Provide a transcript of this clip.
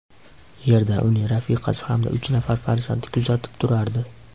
Yerda uni rafiqasi hamda uch nafar farzandi kuzatib turardi.